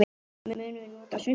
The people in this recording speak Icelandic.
Munum svo að nota svuntu.